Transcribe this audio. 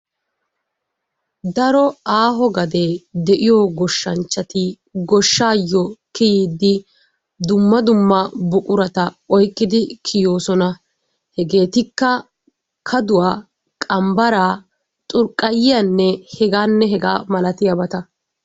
Daro aaho gadee de'iyo goshanchchati goshaayo kiyiidi dumma dumma buqurata oykkidi kiyoosona. Hegeetikka kaduwa, qambaraa xurqqayiyanne hegaanne hegaa milatiyaageeta.